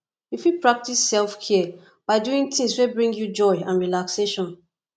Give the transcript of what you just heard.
you fit practice selfcare by doing tings wey bring you joy and relaxation